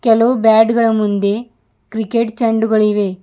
ಕೆಲವು ಬ್ಯಾಟ್ ಗಳ ಮುಂದೆ ಕ್ರಿಕೆಟ್ ಚಂಡುಗಳು ಇವೆ.